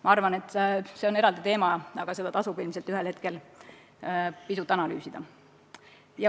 Ma arvan, et see on eraldi teema, aga seda tasub ilmselt ühel hetkel pisut analüüsida.